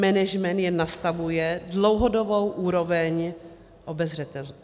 Management jen nastavuje dlouhodobou úroveň obezřetnosti.